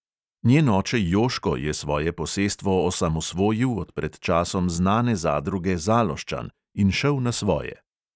Njen oče joško je svoje posestvo osamosvojil od pred časom znane zadruge zaloščan in šel na svoje.